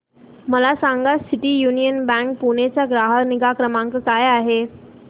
मला सांगा city union bank Pune चा ग्राहक निगा क्रमांक काय आहे